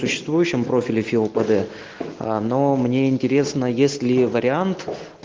существующим профиле филпеде но мне интересно если вариант